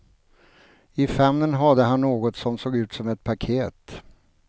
I famnen hade han något som såg ut som ett paket.